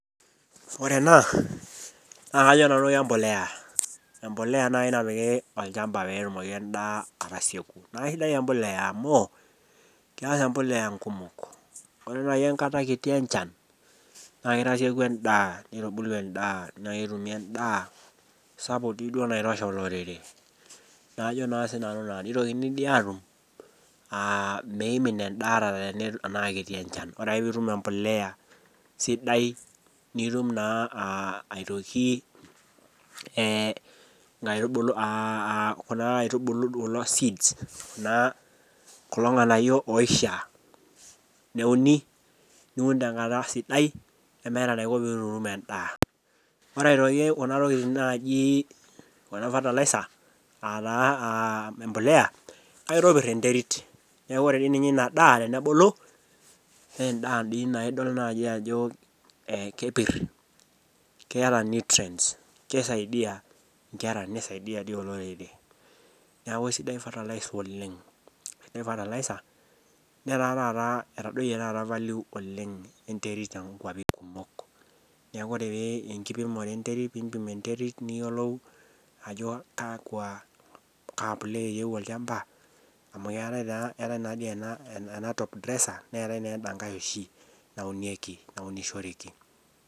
Ore ena naa kajo nanu kebolea embolea naaji napiki olchamba peetumoki endaa atasieku naa kisidai ebolea amu kengas ebolea ikumok amu ore naaji erishita kiti enchan naa kitasieku endaa nitubulu endaa naa ketumi endaa sapuk dii duo naitosha olorere ajoo sinanu naa nitokini doi atum ah meimin endaa atatenaa aikiti enchan Kore ake pee itum ebolea sidai nitum naa ah aitoki nkaitubulu ah kuna aitubulu kuna seeds naa kulo ng'anayio oishiaa neuni niun te nkata sidai nitum endaa ore aitoki kuna tokitin naaji kuna fertilizer ah taa ah ebolea kitopir enterit neaku ore dii ninye ina daa tenebulu naa endaa nidol dii ninye naaji ajo kepir keeta ninye nutrients kisaidia nkera nisadia olorere neaku fertilizer oleng netaa taata etadoyie taata value oleng enterit te nkop too nkuapi kumok neaku ore pee ipim enterit niyiolou ajo kakwa kaa bolea eyieu olchamba emu keata taa ena top dresser netae ena kae oshi naunishoreki.